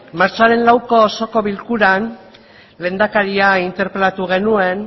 martxoaren lauko osoko bilkuran lehendakaria interpelatu genuen